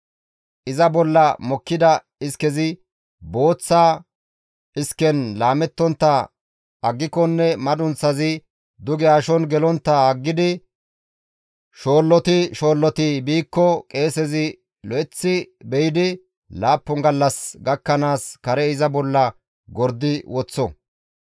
Iza bolla mokkida iskezi booththa isken laamettontta aggikonne madunththazi duge ashon gelontta aggidi shoolloti shoolloti biikko qeesezi lo7eththi be7idi laappun gallas gakkanaas kare iza bolla gordi woththo.